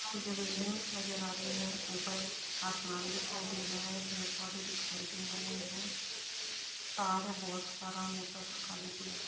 पिछे बिल्डिंग नजर आ रही है। ऊपर आसमान दिखायी दे रहा है। पेड़ पौधे दिखाई दे रहे हैं। तार है बहुत सारा मोटा सा काले कलर का।